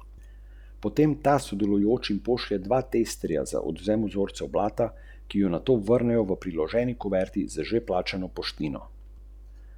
Obveščene so bile pristojne službe.